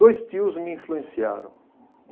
Dois tios me influenciaram.